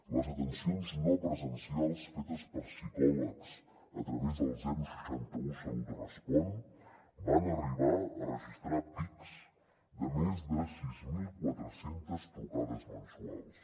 les atencions no presencials fetes per psicòlegs a través del seixanta un salut respon van arribar a registrar pics de més de sis mil quatre cents trucades mensuals